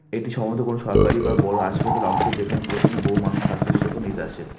এটি সম্ভবত কোনো সরকারি বা বড় হাসপাতালের অংশ যেখানে প্রতিদিন বহু মানুষ স্বাস্থ্যসেবা নিতে আসেন।